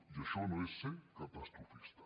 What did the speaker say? i això no és ser catastrofista